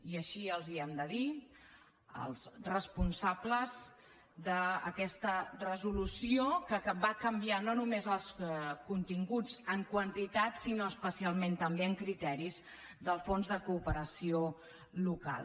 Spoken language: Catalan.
i així ho hem de dir als responsables d’aquesta resolució que va canviar no només els continguts en quantitat sinó especialment també en criteris del fons de cooperació local